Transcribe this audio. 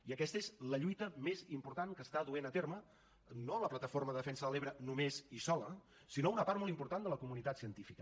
i aquesta és la lluita més important que està duent a terme no la plataforma de defensa de l’ebre només i sola sinó una part molt important de la comunitat científica